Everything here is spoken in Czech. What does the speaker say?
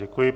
Děkuji.